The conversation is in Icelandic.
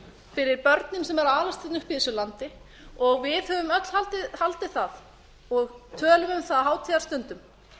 fyrir börnin sem eru að alast hérna upp í þessu landi við höfum öll haldið það og tölum um það á hátíðarstundum